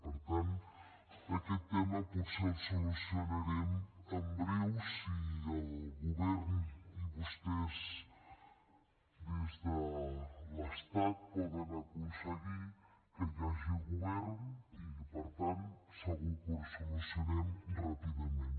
per tant aquest tema potser el solucionarem en breu si el govern i vostès des de l’estat poden aconseguir que hi hagi govern i que per tant segur que ho solucionem ràpidament